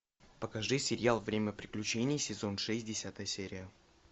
покажи сериал время приключений сезон шесть десятая серия